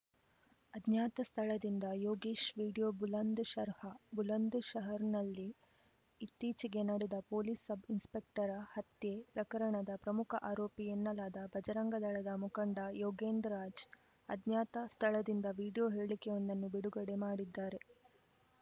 ಅಜ್ಞಾತ ಸ್ಥಳದಿಂದ ಯೋಗೇಶ್‌ ವಿಡಿಯೋ ಬುಲಂದ್‌ಶಹರ್‌ ಬುಲಂದ್‌ಶಹರ್‌ನಲ್ಲಿ ಇತ್ತೀಚೆಗೆ ನಡೆದ ಪೊಲೀಸ್‌ ಸಬ್‌ಇನ್ಸ್‌ಪೆಕ್ಟರ ಹತ್ಯೆ ಪ್ರಕರಣದ ಪ್ರಮುಖ ಆರೋಪಿ ಎನ್ನಲಾದ ಬಜರಂಗದಳದ ಮುಖಂಡ ಯೋಗೇಂದ್‌ ರಾಜ್‌ ಅಜ್ಞಾತ ಸ್ಥಳದಿಂದ ವಿಡಿಯೋ ಹೇಳಿಕೆಯೊಂದನ್ನು ಬಿಡುಗಡೆ ಮಾಡಿದ್ದಾರೆ